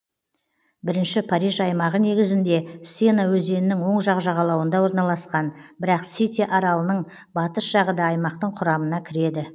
бірінші париж аймағы негізінде сена өзенінің оң жақ жағалауында орналасқан бірақ сите аралының батыс жағы да аймақтың құрамына кіреді